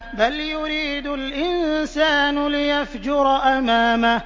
بَلْ يُرِيدُ الْإِنسَانُ لِيَفْجُرَ أَمَامَهُ